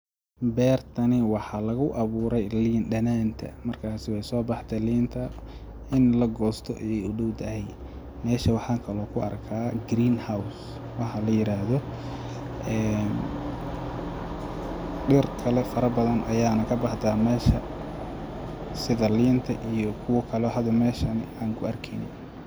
Beertani waxa lagu abuurey liindhananta, markasi wee sobaxde liinta in lagoosto ayee udhawdahay, meesha waxa kalo ku arka greenhouse wax layiraahdo een dhir kale faro badan ayaa kabaxda meeshan sida liinta iyo kuwo kale oo hada meeshan aan ku arkeyne.